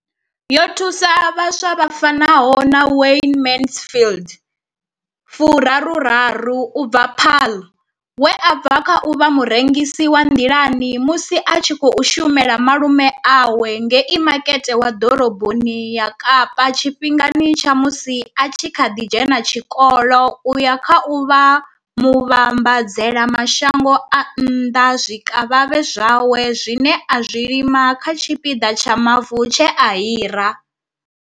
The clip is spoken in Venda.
Yo thusa vhaswa vha fanaho na Wayne Mansfield fu raru raru u bva Paarl, we a bva kha u vha murengisi wa nḓilani musi a tshi khou shumela malume awe ngei Makete wa Ḓoroboni ya Kapa tshifhingani tsha musi a kha ḓi dzhena tshikolo u ya kha u vha muvhambadzela mashango a nnḓa zwikavhavhe zwawe zwine a zwi lima kha tshipiḓa tsha mavu tshe a hira.